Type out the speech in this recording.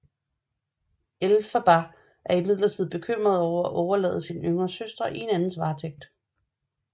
Elphaba er imidlertid bekymret over at overlade sin yngre søster i en andens varetægt